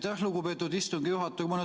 Aitäh, lugupeetud istungi juhataja!